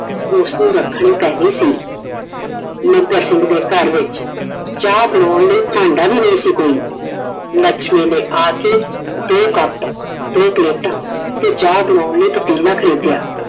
ਉਸ ਨੂੰ ਰੱਖਣੀ ਪੈ ਗਈ ਸੀ। ਮੱਘਰ ਸਿੰਘ ਦੇ ਘਰ ਵਿੱਚ ਚਾਹ ਬਣਾਉਣ ਨੂੰ ਭਾਂਡਾ ਵੀ ਨਹੀਂ ਸੀ ਕੋਈ। ਲੱਛਮੀ ਨੇ ਆ ਕੇ ਦੋ Cup ਦੋ ਪਲੇਟਾਂ ਤੇ ਚਾਹ ਬਣਾਉਣ ਲਈ ਪਤੀਲਾ ਖਰੀਦਿਆ।